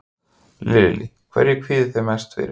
Lillý: Hverju kvíðið þið mest fyrir?